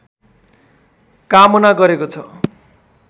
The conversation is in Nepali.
कामना गरेको छ